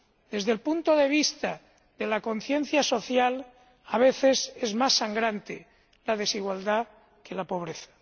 Desde el punto de vista de la conciencia social, a veces es más sangrante la desigualdad que la pobreza.